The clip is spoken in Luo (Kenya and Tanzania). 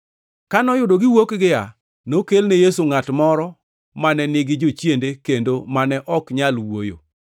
Ka noyudo giwuok gia, nokelne Yesu ngʼat moro mane nigi jochiende kendo mane ok nyal wuoyo.